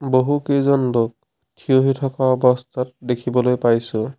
বহুকেইজন লোক থিয়হি থকা অৱস্থাত দেখিব পাইছোঁ।